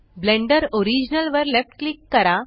blender original वर left click करा